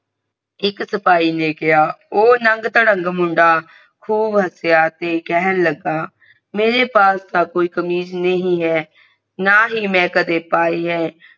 ਇਕ ਸਿਪਾਹੀ ਨੇ ਕਿਹਾ ਊ ਨੰਗ ਧਧੰਗ ਮੁੰਡਾ ਖੂਬ ਹਾਸਿਆਂ ਤੇ ਕਹਿਣ ਲਗਾ ਮੇਰੇ ਪਾਸ ਤਾ ਕੋਈ ਕਮੀਜ ਨਹੀਂ ਹੈ ਨਾ ਹੀ ਮ ਕਦੇ ਪਾਈ ਹੈ